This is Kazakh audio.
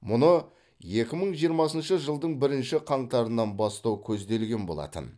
мұны екі мың жиырмасыншы жылдың бірінші қаңтарынан бастау көзделген болатын